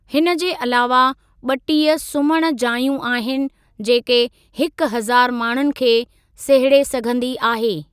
हिन जे अलावा, ॿटीह सुम्हणु जाइयूं आहिनि जेके हिकु हज़ारु माण्हुनि खे सहेड़े सघंदी आहे।